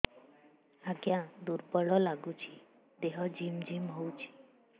ଆଜ୍ଞା ଦୁର୍ବଳ ଲାଗୁଚି ଦେହ ଝିମଝିମ ହଉଛି